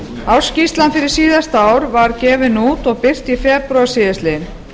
ársskýrslan fyrir síðasta ár var gefin út og birt í febrúar síðastliðinn